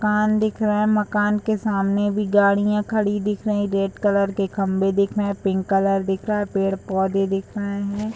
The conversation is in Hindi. मकान दिख रहा है मकान के सामने भी गड़ियां खड़ी दिख रहीं रेड कलर के खम्बे दिख रहे पिंक कलर दिख रहा पेड़-पौधे दिख रहें हैं।